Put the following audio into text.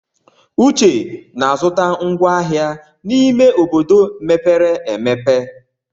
Uche na-azụta ngwá ahịa n'ime obodo mepere emepe.